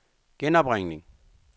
genopringning